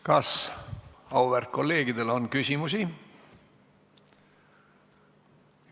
Kas auväärt kolleegidel on küsimusi?